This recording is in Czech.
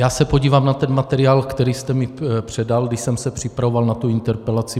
Já se podívám na ten materiál, který jste mi předal, když jsem se připravoval na tu interpelaci.